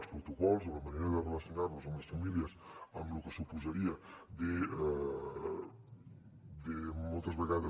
els protocols o la manera de relacionar nos amb les famílies en lo que suposaria moltes vegades